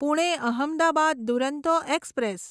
Pune Ahmedabad Duronto express